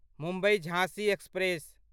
मुम्बई झाँसी एक्सप्रेस